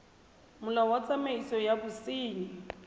molao wa tsamaiso ya bosenyi